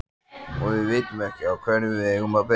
Og við vitum ekki á hverju við eigum að byrja.